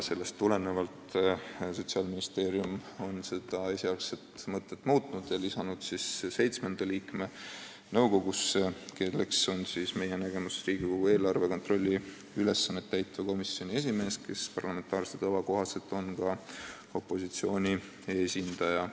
Sellest tulenevalt on Sotsiaalministeerium esialgset mõtet muutnud ja lisanud nõukogusse seitsmenda liikme, kes on meie nägemuses eelarve kontrolli ülesannet täitva komisjoni esimees, kes parlamentaarse tava kohaselt on opositsiooni esindaja.